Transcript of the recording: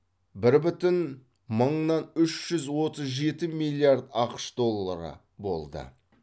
бір бүтін мыңнан үш жүз отыз жеті миллиард ақш доллары болды